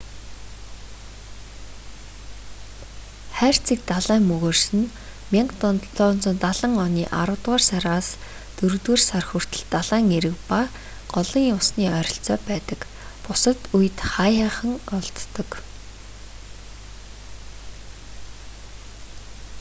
хайрцаг далайн мөгөөрс нь 1770 оны аравдугаар сараас дөрөвдүгээр сар хүртэл далайн эрэг ба голын усны ойролцоо байдаг бусад үед хааяахан олддог